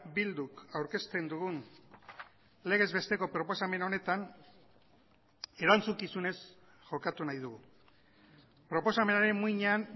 bilduk aurkezten dugun legez besteko proposamen honetan erantzukizunez jokatu nahi dugu proposamenaren muinean